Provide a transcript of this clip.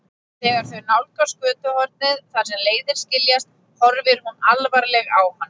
Þegar þau nálgast götuhornið þar sem leiðir skiljast horfir hún alvarleg á hann.